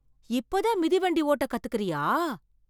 இப்ப தான் மிதிவண்டி ஓட்ட கத்துக்கிறியா.